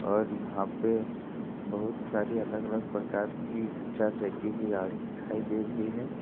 और यहा पे बहुत सारी अलग अलग प्रकार की चार चक्के की गाड़ी दिखाई दे रही है।